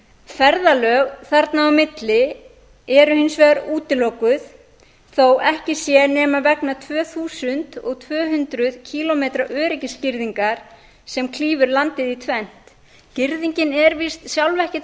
ferðalög þarna á milli eru hins vegar útilokuð þó ekki sé nema vegna tvö þúsund og tvö hundruð kílómetra öryggisgirðingar sem klýfur landið í tvennt girðingin er víst sjálf ekkert